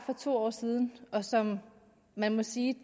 for to år siden og som man må sige